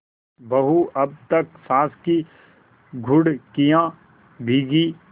बहू अब तक सास की घुड़कियॉँ भीगी